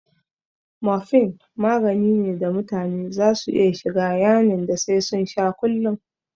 Morphine magani ne da mutane za su iya shiga yanin da sai sun sha kullun